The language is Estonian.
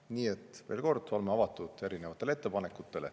Nii et veel kord: oleme avatud erinevatele ettepanekutele.